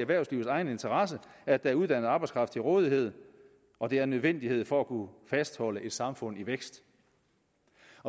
erhvervslivets egen interesse at der er uddannet arbejdskraft til rådighed og det er en nødvendighed for at kunne fastholde et samfund i vækst